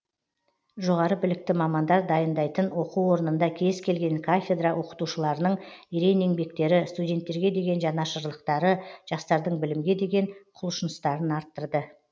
жоғары білікті мамандар дайныдайтын оқу орнында кез келген кафедра оқытушыларының ерен еңбектері студенттерге деген жанашырлықтары жастардың білімге деген құлшыныстарын арттырды